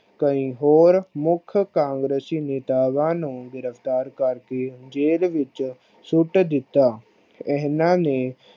ਕਈ ਹੋਰ ਮੁੱਖ ਕਾਂਗਰਸੀ ਨੇਤਾਵਾਂ ਨੂੰ ਗਿਰਫ਼ਤਾਰ ਕਰ ਕੇ ਜੇਲ ਵਿਚ ਸੁੱਟ ਦਿਤਾ। ਇਹਨਾਂ ਨੇ